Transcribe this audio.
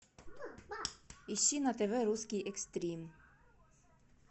ищи на тв русский экстрим